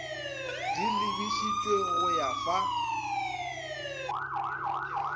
di lebišitšwe go go fa